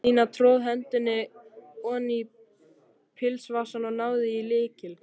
Stína tróð hendinni oní pilsvasann og náði í lykil.